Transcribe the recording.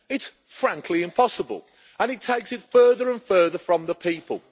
It is, frankly, impossible and it takes it further and further from the people.